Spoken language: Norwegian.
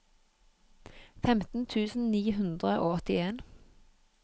femten tusen ni hundre og åttien